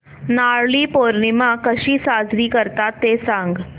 नारळी पौर्णिमा कशी साजरी करतात ते सांग